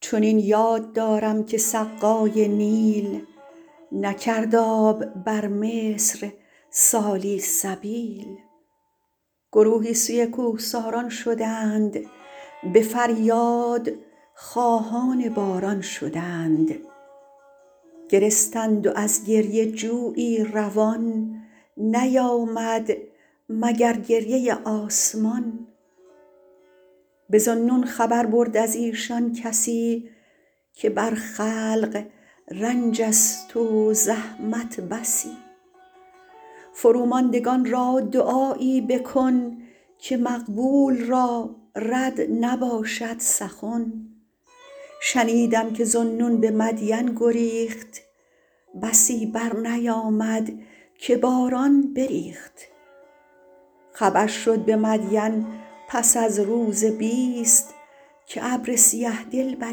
چنین یاد دارم که سقای نیل نکرد آب بر مصر سالی سبیل گروهی سوی کوهساران شدند به فریاد خواهان باران شدند گرستند و از گریه جویی روان نیامد مگر گریه آسمان به ذوالنون خبر برد از ایشان کسی که بر خلق رنج است و زحمت بسی فرو ماندگان را دعایی بکن که مقبول را رد نباشد سخن شنیدم که ذوالنون به مدین گریخت بسی بر نیامد که باران بریخت خبر شد به مدین پس از روز بیست که ابر سیه دل بر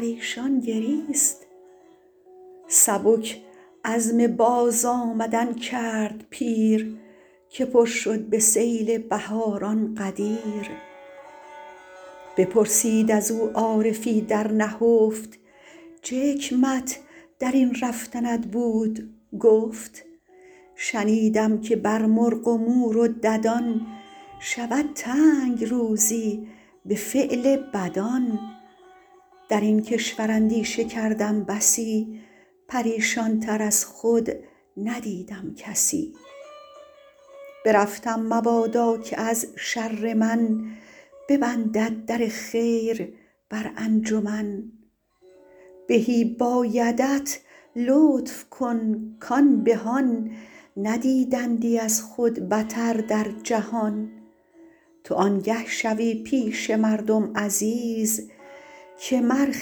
ایشان گریست سبک عزم باز آمدن کرد پیر که پر شد به سیل بهاران غدیر بپرسید از او عارفی در نهفت چه حکمت در این رفتنت بود گفت شنیدم که بر مرغ و مور و ددان شود تنگ روزی به فعل بدان در این کشور اندیشه کردم بسی پریشان تر از خود ندیدم کسی برفتم مبادا که از شر من ببندد در خیر بر انجمن بهی بایدت لطف کن کان بهان ندیدندی از خود بتر در جهان تو آنگه شوی پیش مردم عزیز که مر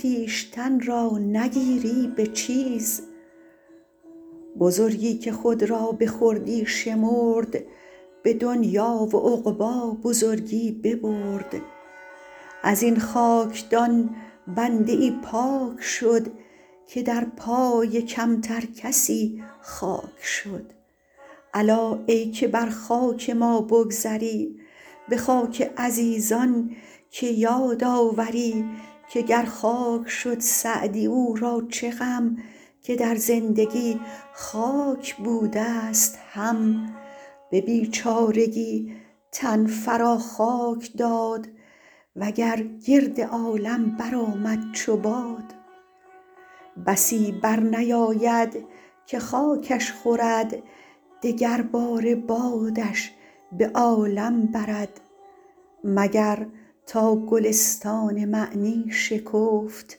خویشتن را نگیری به چیز بزرگی که خود را به خردی شمرد به دنیا و عقبی بزرگی ببرد از این خاکدان بنده ای پاک شد که در پای کمتر کسی خاک شد الا ای که بر خاک ما بگذری به خاک عزیزان که یاد آوری که گر خاک شد سعدی او را چه غم که در زندگی خاک بوده ست هم به بیچارگی تن فرا خاک داد وگر گرد عالم برآمد چو باد بسی برنیاید که خاکش خورد دگر باره بادش به عالم برد مگر تا گلستان معنی شکفت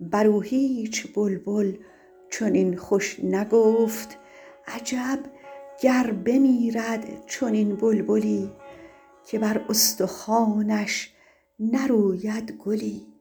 بر او هیچ بلبل چنین خوش نگفت عجب گر بمیرد چنین بلبلی که بر استخوانش نروید گلی